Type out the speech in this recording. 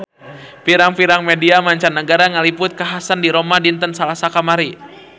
Pirang-pirang media mancanagara ngaliput kakhasan di Roma dinten Salasa kamari